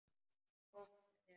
Gott hjá þér.